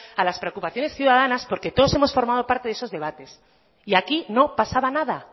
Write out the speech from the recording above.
a las preocupaciones ciudadanas porque todos hemos formado parte de esos debates y aquí no pasaba nada